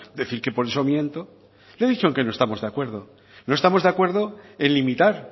decir que por eso miento le he dicho en qué no estamos de acuerdo no estamos de acuerdo en limitar